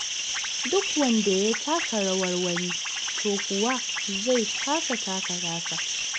Duk wanda ya taka rawar wani, to kuwa zai kasa taka tasa.